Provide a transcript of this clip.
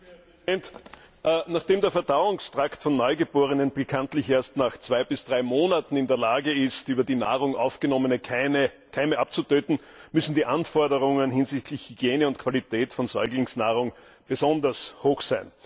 Herr Präsident! Nachdem der Verdauungstrakt von Neugeborenen bekanntlich erst nach zwei bis drei Monaten in der Lage ist, über die Nahrung aufgenommene Keime abzutöten, müssen die Anforderungen hinsichtlich Hygiene und Qualität von Säuglingsnahrung besonders hoch sein.